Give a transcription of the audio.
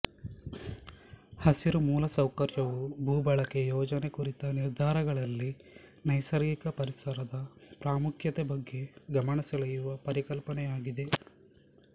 ಹಸಿರು ಮೂಲಸೌಕರ್ಯ ವು ಭೂ ಬಳಕೆ ಯೋಜನೆ ಕುರಿತ ನಿರ್ಧಾರಗಳಲ್ಲಿ ನೈಸರ್ಗಿಕ ಪರಿಸರದ ಪ್ರಾಮುಖ್ಯತೆ ಬಗ್ಗೆ ಗಮನಸೆಳೆಯುವ ಪರಿಕಲ್ಪನೆಯಾಗಿದೆ